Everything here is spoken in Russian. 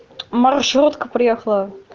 маршрутка приехала